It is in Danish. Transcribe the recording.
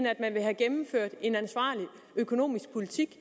at man vil have gennemført en ansvarlig økonomisk politik